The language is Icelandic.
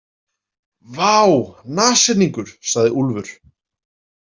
Vá, nashyrningur, sagði Úlfur.